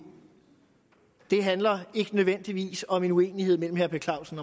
det handler ikke nødvendigvis om en uenighed mellem herre per clausen